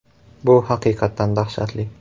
Bu haqiqatan dahshatli.